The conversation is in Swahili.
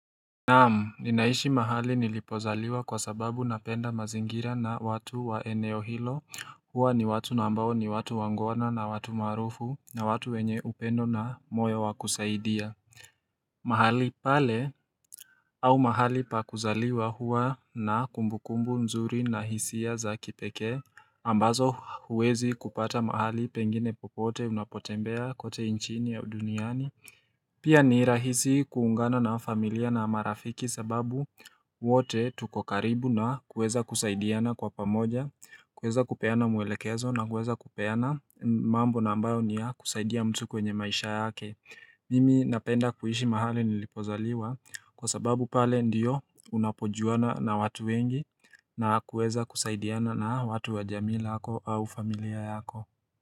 Naamu ninaishi mahali nilipozaliwa kwa sababu napenda mazingira na watu wa eneo hilo huwa ni watu na ambao ni watu wangwana na watu maarufu na watu wenye upendo na moyo wakusaidia mahali pale au mahali pakuzaliwa huwa na kumbukumbu nzuri na hisia za kipeke ambazo huwezi kupata mahali pengine popote unapotembea kote nchini ya duniani Pia ni rahisi kuungana na familia na marafiki sababu wote tukokaribu na kuweza kusaidiana kwa pamoja kuweza kupeana mwelekezo na kuweza kupeana mambo na ambayo niya kusaidia mtu kwenye maisha yake Mimi napenda kuishi mahali nilipozaliwa kwa sababu pale ndiyo unapojuana na watu wengi na kuweza kusaidiana na watu wa jamii lako au familia yako.